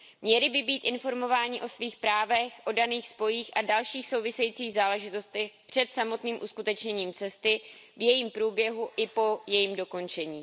Měli by být informováni o svých právech, o daných spojích a dalších souvisejících záležitostech před samotným uskutečněním cesty, v jejím průběhu i po jejím dokončení.